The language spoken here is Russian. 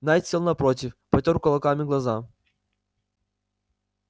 найд сел напротив потёр кулаками глаза